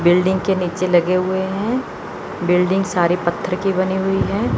Building के नीचे लगे हुए है बिल्डिंग सारी पत्थर की बनी हुई है।